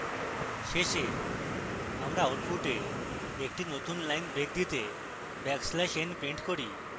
শেষে আমরা output একটি নতুন line break দিতে backslash n print করি